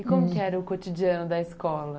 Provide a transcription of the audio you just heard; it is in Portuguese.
E como que era o cotidiano da escola?